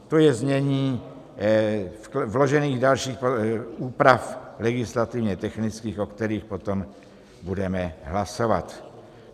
To je znění vložených dalších úprav legislativně-technických, o kterých potom budeme hlasovat.